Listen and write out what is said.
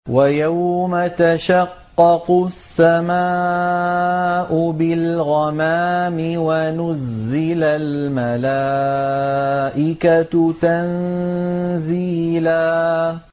وَيَوْمَ تَشَقَّقُ السَّمَاءُ بِالْغَمَامِ وَنُزِّلَ الْمَلَائِكَةُ تَنزِيلًا